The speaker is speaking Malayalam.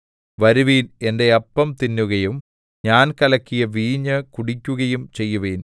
വരുവിൻ എന്റെ അപ്പം തിന്നുകയും ഞാൻ കലക്കിയ വീഞ്ഞ് കുടിക്കുകയും ചെയ്യുവിൻ